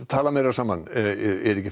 tala meira saman er ekki